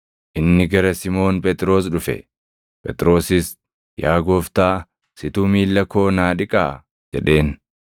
Inni gara Simoon Phexros dhufe; Phexrosis, “Yaa Gooftaa, situ miilla koo naa dhiqaa?” jedheen.